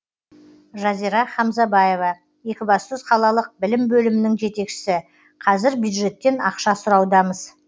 жазира хамзабаева екібастұз қалалық білім бөлімінің жетекшісі қазір бюджеттен ақша сұраудамыз